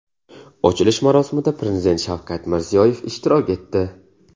Ochilish marosimida Prezident Shavkat Mirziyoyev ishtirok etdi.